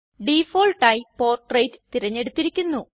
ഡിഫാൾട്ടായി portrait തിരഞ്ഞെടുത്തിരിക്കുന്നു